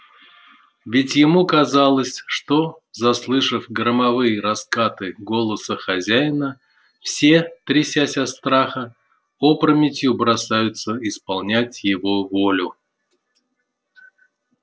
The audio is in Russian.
ведь ему казалось что заслышав громовые раскаты голоса хозяина все трясясь от страха опрометью бросаются исполнять его волю